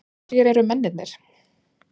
Hverjir eru mennirnir?